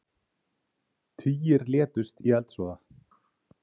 Tugir létust í eldsvoða